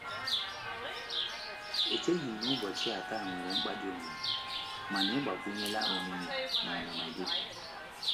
Echeghị m na ubochia taa nwere mkpa ọdi, mana ị gbakwunyela omimi na ọnụnọ gị.